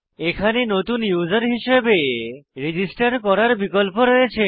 এখানে নতুন ইউসার হিসাবে রেজিস্টার করার বিকল্প রয়েছে